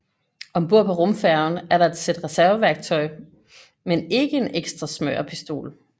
Om bord på rumfærgen er der et sæt reserveværktøj men ikke en ekstra smørepistol